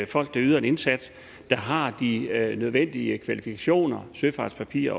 folk der yder en indsats og som har de nødvendige kvalifikationer søfartspapirer